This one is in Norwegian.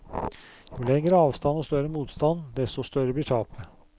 Jo lengre avstand og større motstand, desto større blir tapet.